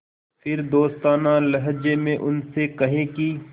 फिर दोस्ताना लहजे में उनसे कहें कि